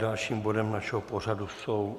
Dalším bodem našeho pořadu jsou